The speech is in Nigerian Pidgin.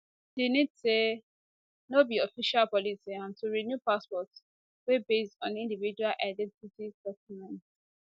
di nis add say no be official policy and to renew passport dey based on individual identity documents